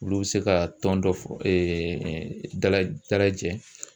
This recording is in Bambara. Olu bɛ se ka tɔn dɔ fɔ dala dala jɛn.